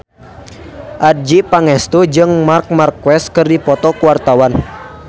Adjie Pangestu jeung Marc Marquez keur dipoto ku wartawan